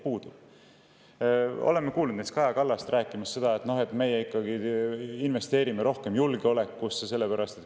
Näiteks oleme kuulnud Kaja Kallast rääkimas sellest, et me ikkagi investeerime rohkem julgeolekusse.